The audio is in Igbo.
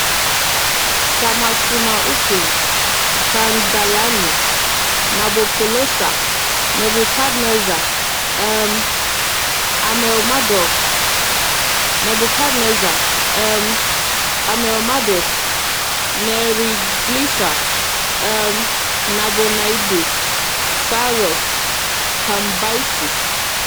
Shamash-shuma-ukin, Kandalanu, Nabopolassar, Nebukadneza, um Amel-Marduk, Nebukadneza, um Amel-Marduk, Neriglissar, um Nabonaidus, Saịrọs, Kambaisis.